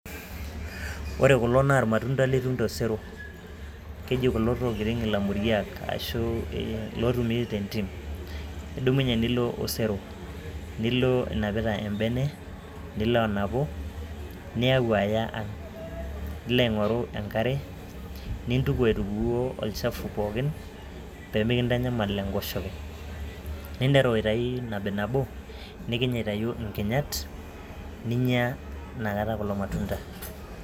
Ore kulo naa ilmatunda litum tosero. Keji kulo olamuriak loo tumi tendim, idumunye nilo osero nilo inapita embene nilo anapu niyau eya ang', nilo aingoru enkare nintuku aitukoo olchafu pookin pee mindanyamal enkoshoke. Ninteru aitayu nabi nabo nikiny aitayu inginyat ninya nakata kulo matunda.